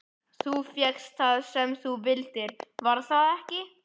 Þú fékkst það sem þú vildir, var það ekki?